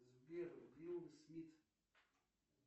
сбер уилл смит